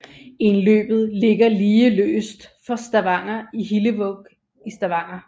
Indløbet ligger lige øst for Hillevåg i Stavanger